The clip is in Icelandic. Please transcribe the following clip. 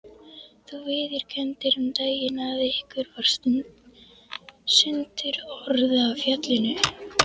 Þú viðurkenndir um daginn að ykkur varð sundurorða á fjallinu.